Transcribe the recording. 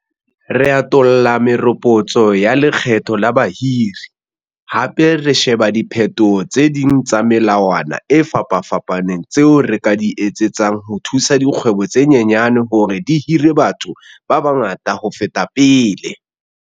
Re atolla meropotso ya lekgetho la bahiri, hape re sheba diphetoho tse ding tsa melawana e fapafapaneng tseo re ka di etsetsang ho thusa dikgwebo tse nyenyane hore di hire batho ba bangata ho feta pele.